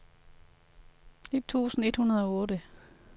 to tusind et hundrede og otte